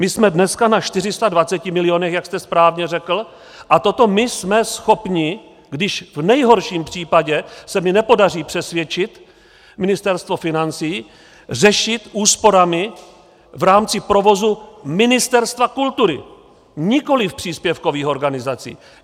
My jsme dneska na 420 milionech, jak jste správně řekl, a toto my jsme schopni, když v nejhorším případě se mi nepodaří přesvědčit Ministerstvo financí, řešit úsporami v rámci provozu Ministerstva kultury, nikoli příspěvkových organizací.